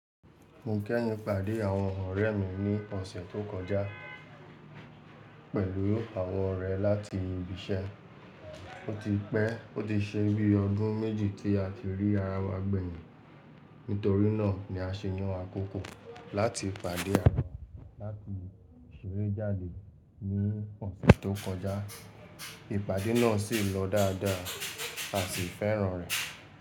Mo kẹ́yìn pàdé àwọn ọ̀rẹ́ mi ní ọ̀sẹ̀ tó kọjá pẹ̀lú àwọ̀n orẹ̀ láti ibiṣẹ́. Ó ti pẹ́, ó ti ṣe bí ọdún méjì tí a ti rí ara wa gbẹ̀yìn, nítorí náà ni a ṣe yàn àkókò láti pàdé ara láti ṣeré jáde ní ọ̀sẹ̀ tó kọjá. Ìpàdé náà sì lọ dáadáa à sì fẹ́ràn rẹ̀.